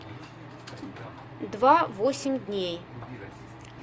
два восемь дней